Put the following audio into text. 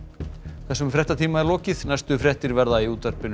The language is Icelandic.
þessum fréttatíma er lokið næstu fréttir verða sagðar í útvarpi